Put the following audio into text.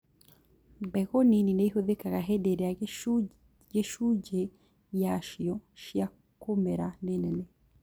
Mbegũ nini nĩihũthĩkaga hĩndĩ ĩrĩa gĩcunjĩ yacio cia kũmera nĩ nene